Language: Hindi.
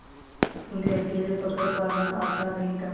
उन्हें अकेले पकड़ पाना आसान नहीं था